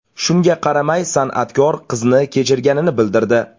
Shunga qaramay, san’atkor qizni kechirganini bildirdi.